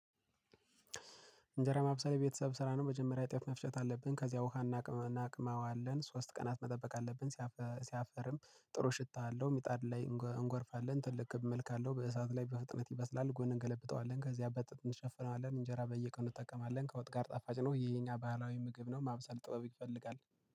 እንጀራ ማብሰል የቤተሰብ ስራ ነው የመጀመሪያ እጥፍ መፍቸት አለብን። ከዚያ ውሃ እናቅመዋለን ሶስት ቀናት መጠበቅ አለብን። ሲያፈርም ጥሩ ሽታ አለው ሚጣድ ላይ እንጎርፋለን። ትልቅ እመልካለሁ በእሳት ላይ በፍጥነት ይበስላል። ጎን እንገለብጠዋለን ከዚህ አበጥተን እንሸፍነዋለን። እንጀራ በየቀኑ እንጠቀማለን ጋር ጣፋጭ ነው። ይሄኛ ባህላዊ ምግብ ነው። ማምሰል ጥበብ ይፈልጋል